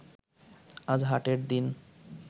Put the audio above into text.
আজ হাটের দিন